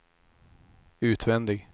utvändig